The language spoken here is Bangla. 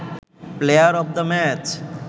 player of the match